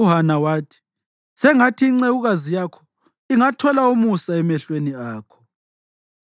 UHana wathi, “Sengathi incekukazi yakho ingathola umusa emehlweni akho.”